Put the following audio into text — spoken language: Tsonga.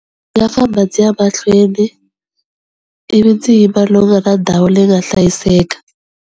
Ndzi nga famba ndzi ya mahlweni, ivi ndzi yima lomu nga na ndhawu leyi nga hlayiseka.